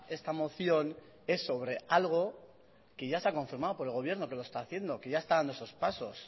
esta moción es sobre algo que ya se ha confirmado por el gobierno que lo está haciendo que ya está dando esos pasos